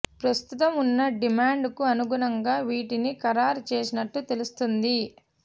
ప్రస్తుతం ఉన్న డిమాండ్ కు అనుగుణంగా వీటిని ఖరారు చేసినట్లు తెలుస్తోంది